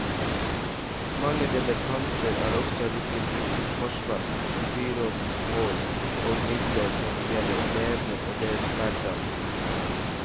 Mange debattanter har også rykket ut til forsvar for byrådens mål og midler når det gjelder elevene og deres hverdag.